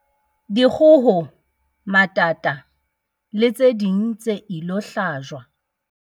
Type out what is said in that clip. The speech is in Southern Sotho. Dikgoho, matata le tse ding tse ilo hlajwa